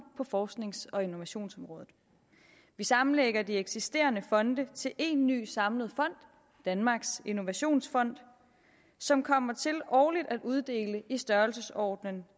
på forsknings og innovationsområdet vi sammenlægger de eksisterende fonde til en ny samlet fond danmarks innovationsfond som kommer til årligt at uddele i størrelsesordenen